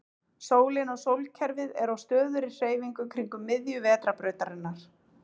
Sólin og sólkerfið er á stöðugri hreyfingu kringum miðju Vetrarbrautarinnar.